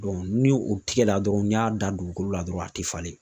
ni o tigɛ la dɔrɔn, n'i y'a dan dugukolo la dɔrɔn a te falen.